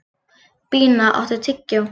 Bína, áttu tyggjó?